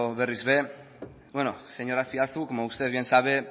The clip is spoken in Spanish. berriz ere bueno señor azpiazu como usted bien sabe